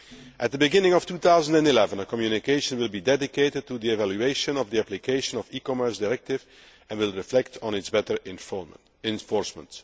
At the beginning of 2011, a communication will be dedicated to the evaluation of the application of the e Commerce Directive and will reflect on its better enforcement.